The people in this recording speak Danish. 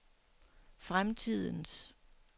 fremtidens